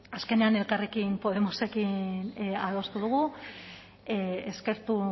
azkenean elkarrekin podemosekin adostu dugu eskertu